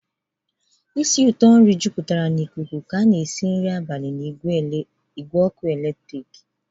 ísì ụtọ ngwa e si nri jupụtara ikuku ka nri abalị si n'igwe ọkụ eletrik.